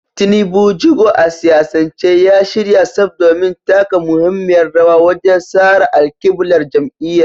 Tinubu, jigo a siyasance, ya shirya tsaf domin taka muhimmiyar rawa wajen tsara alƙiblar jam’iyyar.